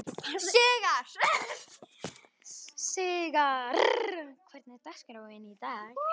Sigarr, hvernig er dagskráin í dag?